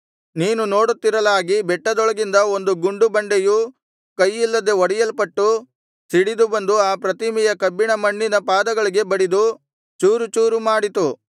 ನೀನು ನೋಡುತ್ತಿರಲಾಗಿ ಬೆಟ್ಟದೊಳಗಿಂದ ಒಂದು ಗುಂಡು ಬಂಡೆಯು ಕೈಯಿಲ್ಲದೆ ಒಡೆಯಲ್ಪಟ್ಟು ಸಿಡಿದು ಬಂದು ಆ ಪ್ರತಿಮೆಯ ಕಬ್ಬಿಣ ಮಣ್ಣಿನ ಪಾದಗಳಿಗೆ ಬಡಿದು ಚೂರುಚೂರು ಮಾಡಿತು